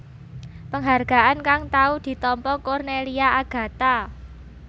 Penghargaan kang tau ditampa Cornelia Agatha